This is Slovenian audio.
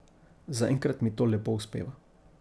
Zaenkrat mi to lepo uspeva.